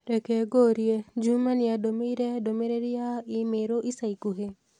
Reke ngũurie Juma niandũmĩire ndũmĩrĩri ya i-mīrū ica ikuhĩ